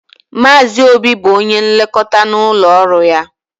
Maazị Obi bụ onye nlekọta n'ụlọọrụ ya.